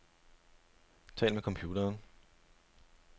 Tal med computeren.